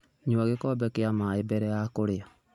Nyua gĩkombe kĩa maĩ mbere ya kũrĩa.